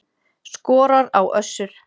Skorar á Össur